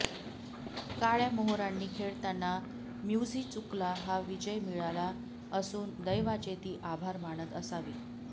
काळय़ा मोहरांनी खेळताना म्युझीचुकला हा विजय मिळाला असून दैवाचे ती आभार मानत असावी